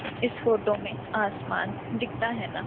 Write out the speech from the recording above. इस फोटो में आसमान दिखता है ना--